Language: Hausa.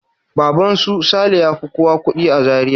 Baban su Saleh ya fi kowa kuɗi a Zaria.